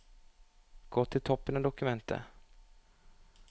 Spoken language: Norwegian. Gå til toppen av dokumentet